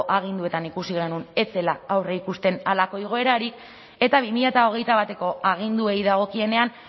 aginduetan ikusi genuen ez zela aurreikusten halako igoerarik eta bi mila hogeita bateko aginduei dagokienean